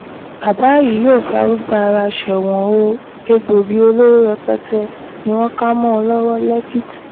bàbá yìí yóò farúgbó ara sẹ́wọ̀n o egbòogi olóró rẹpẹtẹ ni wọ́n kà mọ́ ọn lọ́wọ́ lẹ́kìtì